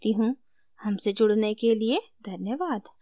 हमसे जुड़ने के लिए धन्यवाद